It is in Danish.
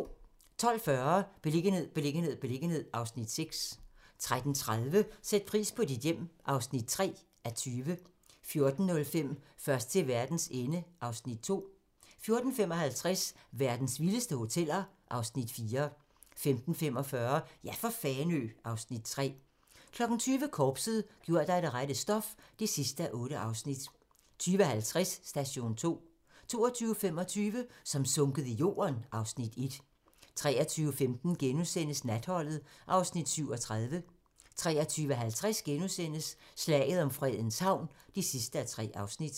12:40: Beliggenhed, beliggenhed, beliggenhed (Afs. 6) 13:30: Sæt pris på dit hjem (3:20) 14:05: Først til verdens ende (Afs. 2) 14:55: Verdens vildeste hoteller (Afs. 4) 15:45: Ja for Fanø (Afs. 3) 20:00: Korpset - gjort af det rette stof (8:8) 20:50: Station 2 22:25: Som sunket i jorden (Afs. 1) 23:15: Natholdet (Afs. 37)* 23:50: Slaget om Fredens Havn (3:3)*